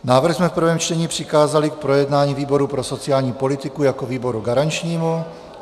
Návrh jsme v prvém čtení přikázali k projednání výboru pro sociální politiku jako výboru garančnímu.